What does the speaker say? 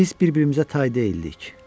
Biz bir-birimizə tay deyildik.